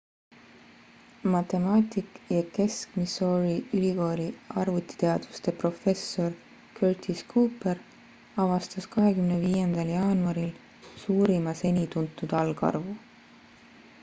matemaatik ja kesk-missouri ülikooli arvutiteaduste professor curtis cooper avastas 25 jaanuaril suurima seni tuntud algarvu